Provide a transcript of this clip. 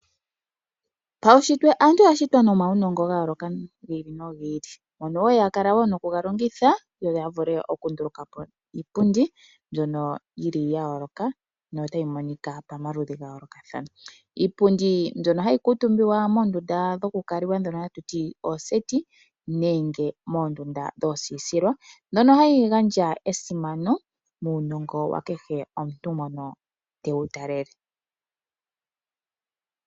Paunshitwe aantu oya shitwa nomaunongo ga yooloka gi ili nogi ili ngono wo ya kala nokuga longitha yo ya vule okunduluka po iipundi mbyon ya yooloka notayi monika pamaludhi ga yoolokathana. Iipundi mbyono hayi kuutumbwa moondunda dhokukalwa ndhono hatu ti ooseti, nenge moondunda dhoosiisilwa mbyono hayi gandja esimano muunongo wa kehe omuntu mono tewu talele.